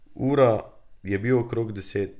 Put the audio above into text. Ura je bil okrog deset.